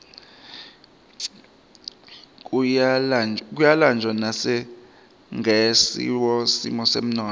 kuyalanjwa nasingesihle simo semnotfo